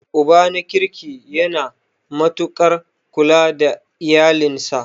Uba na kirki yana matuaƙar kula da iyalinsa.